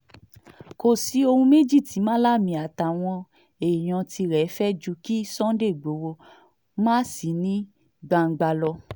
kò sí ohun méjì tí malami àtàwọn èèyàn tirẹ̀ ń fẹ́ ju kí sunday igbodò má sì ní gbangba lọ